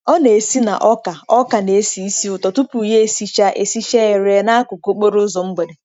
Ọ na-esi na ọka ọka na-esi ísì ụtọ tupu ya esichaa esichaa ere n'akụkụ okporo ụzọ mgbede.